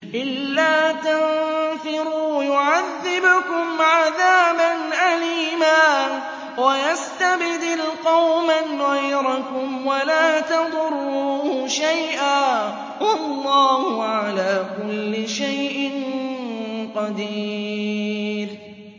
إِلَّا تَنفِرُوا يُعَذِّبْكُمْ عَذَابًا أَلِيمًا وَيَسْتَبْدِلْ قَوْمًا غَيْرَكُمْ وَلَا تَضُرُّوهُ شَيْئًا ۗ وَاللَّهُ عَلَىٰ كُلِّ شَيْءٍ قَدِيرٌ